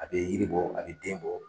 A bɛ yiribɔ a bɛ den bɔ.